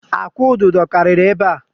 Akwụ̀ ududo karịrị ebe a.